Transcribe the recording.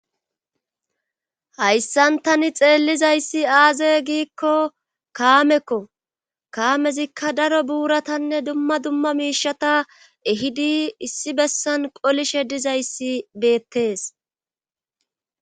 hayssan tani xeellizayssi aaze giikko kaamekko kaamezikka daro buuratanne dumma dumma miishata ehidi issi bessan qolishe dizayssi beettees